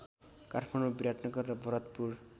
काठमाडौँ विराटनगर र भरतपुर